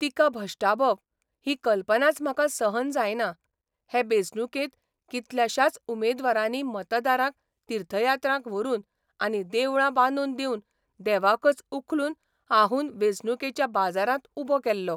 तिका भश्टावप ही कल्पनाच म्हाका सहन जायना हे बेंचणुकेंत कितल्याश्याच उमेदवारांनी मतदारांक तिर्थयात्रांक व्हरून आनी देवळां बांदून दिवन देवाकच उखलून हाहून वेंचणुकेच्या बाजारांत उबो केल्लो.